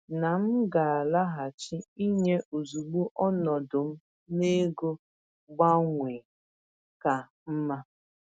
M kọwara na m ga-alaghachi inye ozugbo ọnọdụ m n’ego gbanwee ka mma.